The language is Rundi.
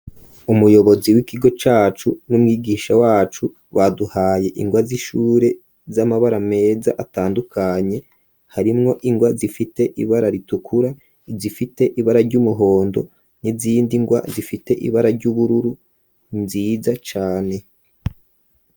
Umuyobozi w'ikigo cacu n'umwigisha wacu waduhaye ingwa z'ishure z'amabara meza atandukanye harimwo ingwa zifite ibara ritukura zifite ibara ry'umuhondo n'izindi ngwa zifite ibara ry'ubururu nziza cane.